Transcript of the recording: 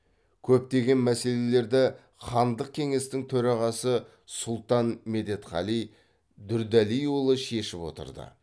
көптеген мәселелерді хандық кеңестің төрағасы сұлтан медетғали дұрдәлиұлы шешіп отырды